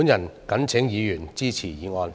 我謹請議員支持議案。